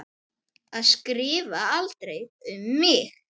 Að skrifa aldrei um mig.